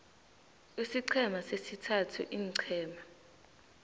isiqhema sesithathu iinqhema